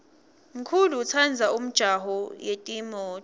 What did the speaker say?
mkulu utsandza umjaho yetimto